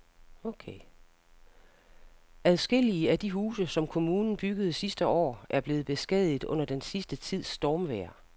Adskillige af de huse, som kommunen byggede sidste år, er blevet beskadiget under den sidste tids stormvejr.